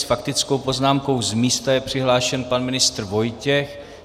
S faktickou poznámkou z místa je přihlášen pan ministr Vojtěch.